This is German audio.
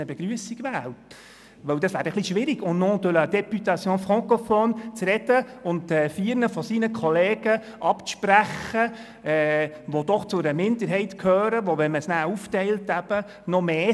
Denn das wäre dann etwas schwierig, «au nom de la Députation francophone» zu sprechen, und vier seiner Kollegen abzusprechen, dass sie als französischsprachige Regierungsräte gewählt werden dürfen.